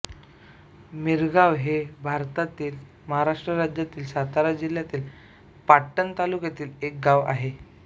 मिरगाव हे भारतातील महाराष्ट्र राज्यातील सातारा जिल्ह्यातील पाटण तालुक्यातील एक गाव आहे